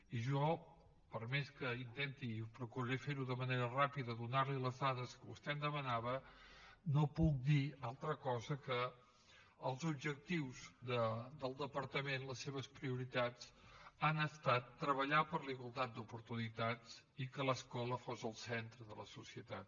i jo per més que intenti i procuraré fer ho d’una manera ràpida donar li les dades que vostè em demanava no puc dir altra cosa que els objectius del departament les seves prioritats han estat treballar per la igualtat d’oportunitats i que l’escola fos el centre de la societat